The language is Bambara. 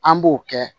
An b'o kɛ